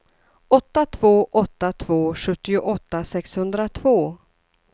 åtta två åtta två sjuttioåtta sexhundratvå